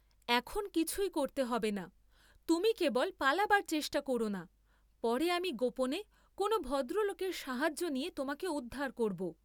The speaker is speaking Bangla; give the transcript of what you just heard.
এখন কিছুই করতে হবে না, তুমি কেবল পালাবার চেষ্টা করনা, পরে আমি গোপনে কোন ভদ্রলোকের সাহায্য নিয়ে তোমাকে উদ্ধার করব।